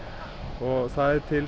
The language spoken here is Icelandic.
og það er til